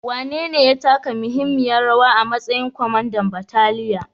Wanene ya taka muhimmiyar rawa a matsayinsa na kwamandan bataliyar?